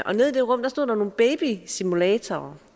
og nede i det rum stod der nogle babysimulatorer